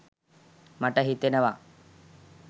මට හිතෙනවා